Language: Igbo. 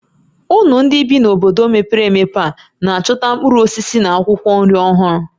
Unu ndị bi n'obodo mepere emepe a na-achọta mkpụrụ osisi na akwụkwọ nri ọhụrụ?